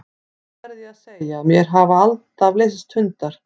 Það verð ég að segja að mér hafa alltaf leiðst hundar.